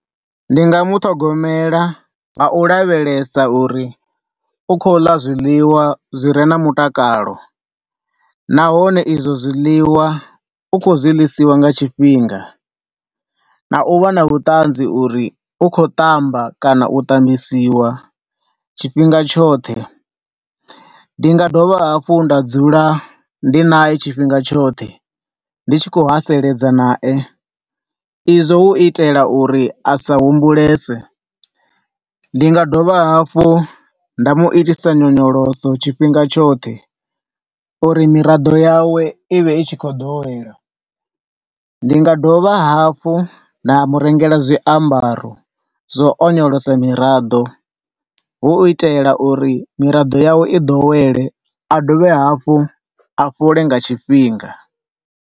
Ndi nga muṱhogomela nga u lavhelesa uri u khou ḽa zwiḽiwa zwire na mutakalo, nahone izwo zwiḽiwa u khou zwi ḽisiwa nga tshinfhinga na u vha na vhuṱanzi uri u khou ṱamba kana u ṱambisiwa tshifhinga tshoṱhe. Ndi nga dovha hafhu nda dzula ndi nae tshifhinga tshoṱhe ndi tshi khou haseledza nae, izwo hu itela uri asa humbulese. Ndi nga dovha hafho nda muitisa nyonyoloso tshifhinga tshoṱhe uri miraḓo yawe ivhe i tshi khou ḓowela. Ndi nga dovha hafhu nda murengela zwiambaro zwa u nyonyolosa miraḓo, hu u itela uri miraḓo yawe i ḓowele a dovhe hafhu a fhole nga tshifhinga.